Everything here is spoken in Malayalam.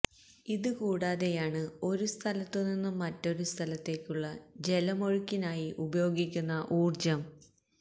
ഇത് കൂടാതെയാണ് ഒരു സ്ഥലത്ത് നിന്നും മറ്റൊരു സ്ഥലത്തേക്കുള്ള ജലമൊഴുക്കിനായി ഉപയോഗിക്കുന്ന ഊര്ജം